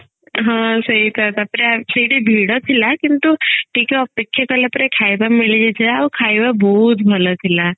ହଁ ସେଇତ ତାପରେ ସେଇଠି ଭିଡ ଥିଲା କିନ୍ତୁ ଟିକେ ଅପେକ୍ଷା କଳା ପରେ ଖାଇବା ମିଳି ଯାଇଥିଲା ଆଉ ଖାଇବା ବହୁତ ଭଲ ଥିଲା